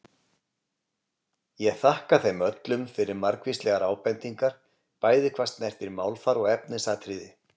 Ég þakka þeim öllum fyrir margvíslegar ábendingar bæði hvað snertir málfar og efnisatriði.